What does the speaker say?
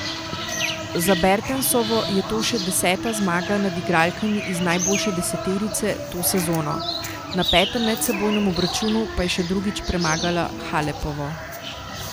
Za Bertensovo je to še deseta zmaga nad igralkami iz najboljše deseterice to sezono, na petem medsebojnem obračunu pa je še drugič premagala Halepovo.